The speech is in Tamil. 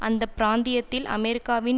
அந்த பிராந்தியத்தில் அமெரிக்காவின்